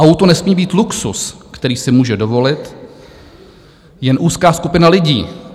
Auto nesmí být luxus, který si může dovolit jen úzká skupina lidí."